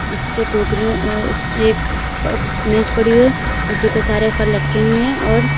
इसके पे कारियो अ इस एक अ मेज पड़ी हुई है उसी पे सारे फल लटके हुए हैं और--